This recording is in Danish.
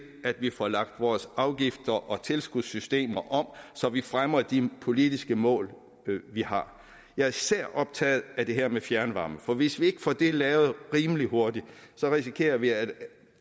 at vi får lagt vores afgifts og tilskudssystemer om så vi fremmer de politiske mål vi har jeg er især optaget af det her med fjernvarme for hvis vi ikke får det lavet rimelig hurtigt risikerer vi at